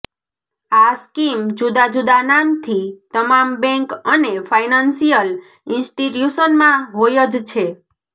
આ સ્કીમ જુદા જુદા નામથી તમામ બેન્ક અને ફાઈનાન્સિયલ ઈન્સ્ટીટ્યુશનમાં હોય જ છે